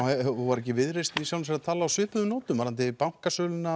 var ekki Viðreisn í sjálfu sér að tala á svipuðum nótum varðandi bankasölu